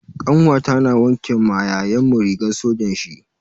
Kanwata na wanke ma yayanmu rigar sojan shi.